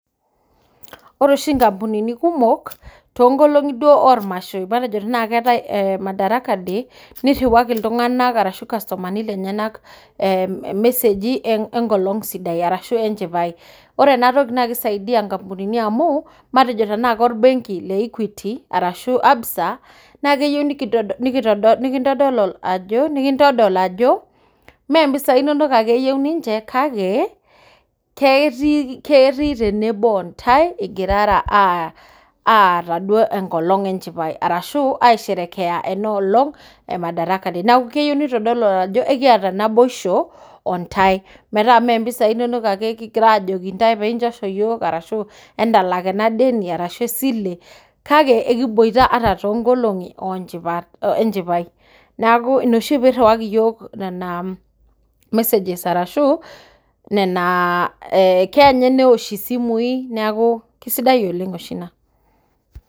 Ore oshi nkampunini kumok too nkolong'i duo oo mashoi matejo tenaa keetae ee madaraka day nirriwaki iltung'ana arashu irkastumani lenyena irmeseji enkolong sidai ashuu enchai. Ore ena toki naa kisaidia nkampunini amuu matejo tenaa korbenki le equity ashuu le Absa naa kitodol ajo mee mpisai inono ake enyorrie ntae kake kitodolu ajo ketii tenebo ntae igirara aisherekea enkolong enchipai arashu aaisherekea madaraka day. neeku keyieu neitodolu ajo, ekiaata naboisho ontae metaa ime mpisai inono ake kigira aajoki ntae piinchosho yiook kake kigira aajoki ntae entalak ena sile kake ekiboita ata too nkolong'i enchipai neeku kirriwaki iyiook nena messages ashuu nena aa keya ninye newosh isimui. Neeku kisidai oleng oshi ina.